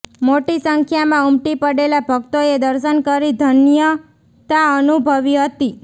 મોટી સંખ્યામાં ઉમટી પડેલા ભક્તોએ દર્શન કરી ધન્યતા અનુભવી હતી